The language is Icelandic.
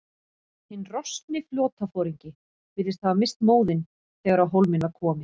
Hinn roskni flotaforingi virðist hafa misst móðinn, þegar á hólminn var komið.